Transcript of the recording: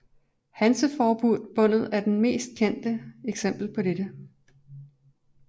Hanseforbundet er det mest kendte eksempel på dette